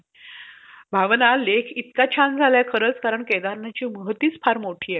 Sir तुम्ही मला सांगू शकणार कि हे damage का निघालं?